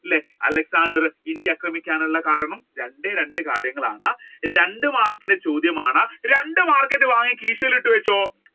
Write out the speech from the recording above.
അല്ലെ Alexander India ആക്രമിക്കാനുള്ള കാരണം രണ്ടേ രണ്ട് കാര്യങ്ങളാണ് രണ്ടു മാർക്കിന്റെ ചോദ്യമാണ് രണ്ട് മാർക്ക് വാങ്ങി കീശയിൽ ഇട്ട് വെച്ചോ.